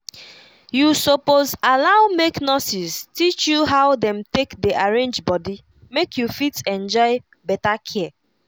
you suppose allow make nurses teach you how dem take dey arrange body make you fit enjoy better care